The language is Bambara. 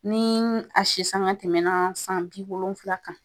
Ni a si sanga tɛmɛna san bi wolonfila kan